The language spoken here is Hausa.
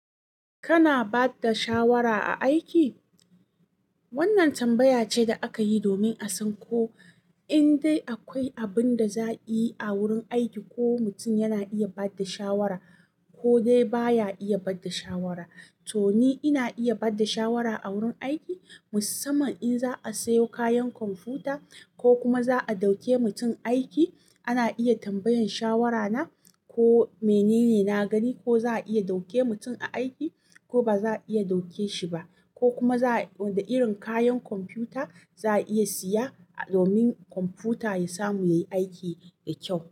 Kana ba da shawara a aiki? Wannan tambaya ce da aka yi domin a san ko in dai akwai abin da za a yi a wurin aiki, ko mutum yana iya ba da shawara ko dai baya iya ba da shawara. To ni ina iya ba da shawara a wurin aiki, musamman in za a sayo kayan kwamfuta ko kuma za a ɗauke mutum aiki. Ana iya tambayan shawara na ko menene na gani, ko za a iya ɗauke mutum a aiki ko ba za a iya ɗauke shi ba, ko kuma wanda irin kayan kwamfuta za a iya siya domin kwamfuta ya samu yayi aiki da kyau.